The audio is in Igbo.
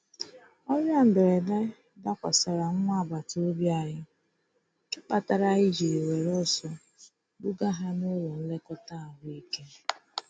Ọrịa mberede dakwasara nwa agbata obi anyị, nke kpatara anyị jiri were ọsọ buga ha n'ụlọ ọrụ nlekọta ahụ ike.